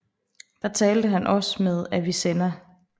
Der talte han også med Avicenna